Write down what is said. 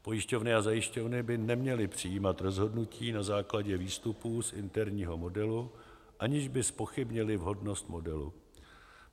Pojišťovny a zajišťovny by neměly přijímat rozhodnutí na základě výstupů z interního modelu, aniž by zpochybnily vhodnost modelu.